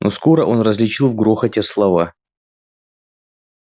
но скоро он различил в грохоте слова